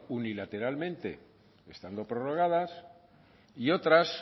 unilateralmente estando prorrogadas y otras